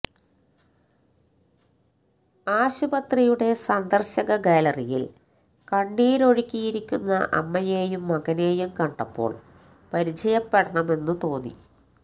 ആശുപത്രിയുടെ സന്ദര്ശക ഗാലറിയില് കണ്ണീരൊഴുക്കിയിരിക്കുന്ന അമ്മയെയും മകനെയും കണ്ടപ്പോള് പരിചയപ്പെടണമെന്ന് തോന്നി